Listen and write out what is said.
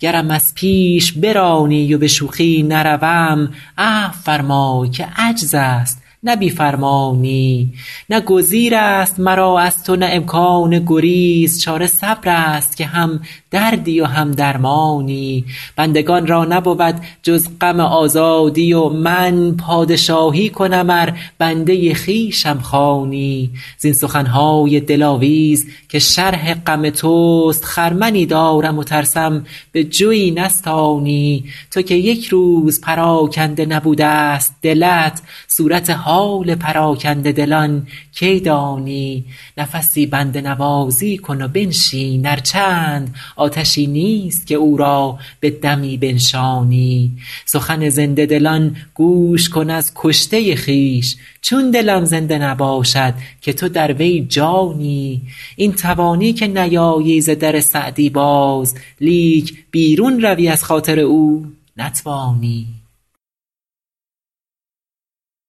گرم از پیش برانی و به شوخی نروم عفو فرمای که عجز است نه بی فرمانی نه گزیر است مرا از تو نه امکان گریز چاره صبر است که هم دردی و هم درمانی بندگان را نبود جز غم آزادی و من پادشاهی کنم ار بنده خویشم خوانی زین سخن های دلاویز که شرح غم توست خرمنی دارم و ترسم به جوی نستانی تو که یک روز پراکنده نبوده ست دلت صورت حال پراکنده دلان کی دانی نفسی بنده نوازی کن و بنشین ار چند آتشی نیست که او را به دمی بنشانی سخن زنده دلان گوش کن از کشته خویش چون دلم زنده نباشد که تو در وی جانی این توانی که نیایی ز در سعدی باز لیک بیرون روی از خاطر او نتوانی